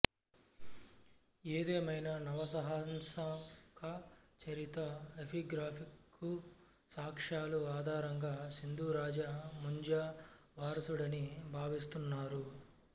ఏదేమైనా నవసహసంకాచరిత ఎపిగ్రాఫికు సాక్ష్యాల ఆధారంగా సింధురాజా ముంజా వారసుడని భావిస్తున్నారు